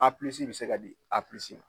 bɛ se ka di